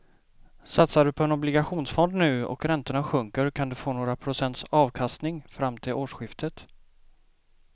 Satsar du på en obligationsfond nu och räntorna sjunker kan du få några procents avkastning fram till årsskiftet.